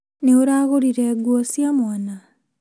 Nĩ ũragũrire nguo cia mwana?